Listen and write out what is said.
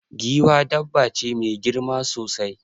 Giwa dabba ce mai girma sosai.